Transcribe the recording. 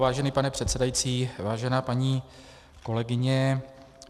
Vážený pane předsedající, vážená paní kolegyně.